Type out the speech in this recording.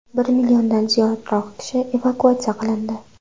Bir milliondan ziyod kishi evakuatsiya qilindi.